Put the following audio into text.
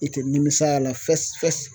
I tɛ nimis'a la fɛsi fɛsi.